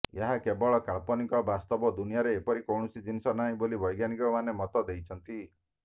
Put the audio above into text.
ଏହା କେବଳ କାଳ୍ପନିକ ବାସ୍ତବ ଦୁନିଆରେ ଏପରି କୌଣସି ଜିନିଷ ନାହିଁ ବୋଲି ବୈଜ୍ଞାନିକମାନେ ମତ ଦେଇଛନ୍ତି